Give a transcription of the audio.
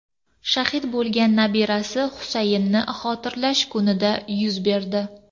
shahid bo‘lgan nabirasi Husaynni xotirlash kunida yuz berdi.